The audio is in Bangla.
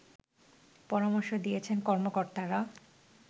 পরামর্শ দিয়েছেন কর্মকর্তারা